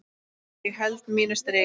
Ég held mínu striki.